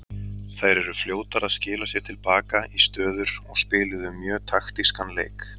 Þær eru fljótar að skila sér til baka í stöður og spiluðu mjög taktískan leik.